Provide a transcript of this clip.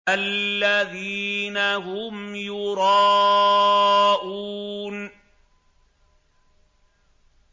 الَّذِينَ هُمْ يُرَاءُونَ